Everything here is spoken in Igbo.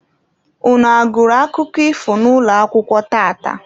Unu a gụrụ akụkọ ifo n'ụlọakwụkwọ tata?